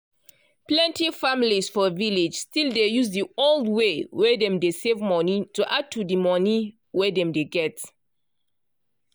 plenty families for village still dey use di old way wey dem dey save money to add to di monie wey dem dey get.